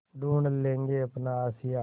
ढूँढ लेंगे अपना आशियाँ